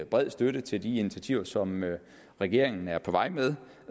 bred støtte til de initiativer som regeringen er på vej med